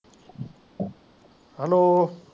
Hello